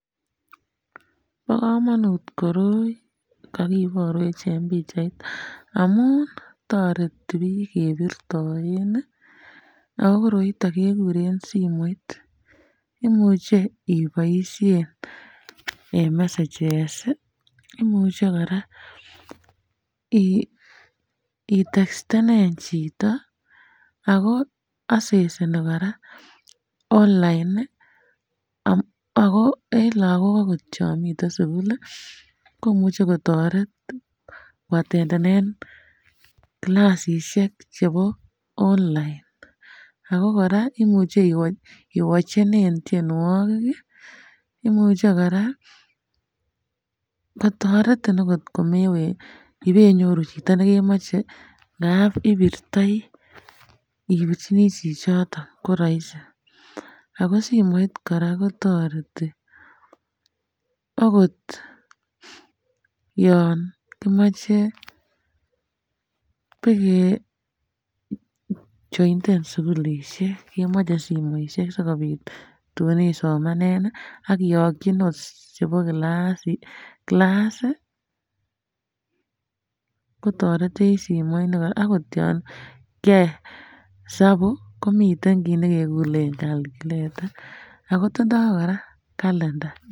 Bo kamanut koroi kakibarwech en pichait amun toreti biik kebirtoen ago koroiton kekuren simoit. Imuche iboisien en messages imuche kora itekstenen chito akseseni kora onlain ago en lagok agot chon miten suguk komuche kotoret koatendenen kilasisiek chebo onlain ago kora imuche iwochenen tienwogik. Imuche kora kotaretin agot komebenyoru chito nekemoche anaat ipirtoi ipirchini chichoton. Ko raisi. Ago simoit kora kotareti agot yon kimache bakejointen sugulisiek, kemoche sugulisiek sigopit tun isomanen ak kiyokyi nots chebo kilas kotaretech agot yon kiyoe hesapu komi kit ne kekuren calculator ago tindo kora kalenda.